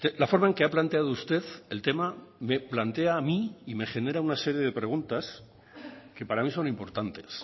la forma en que ha planteado usted el tema me plantea a mí y me genera una serie de preguntas que para mí son importantes